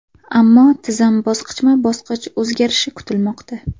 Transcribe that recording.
Ammo tizim bosqichma-bosqich o‘zgarishi kutilmoqda.